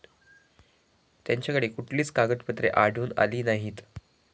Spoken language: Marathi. त्यांच्याकडे कुठलीच कागदपत्रे आढळून आली नाहीत.